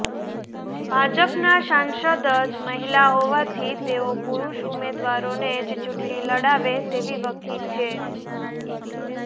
ભાજપનાં સાંસદ જ મહિલા હોવાથી તેઓ પુરૂષ ઉમેદવારોને જ ચૂંટણી લડાવે તેવી વકી છે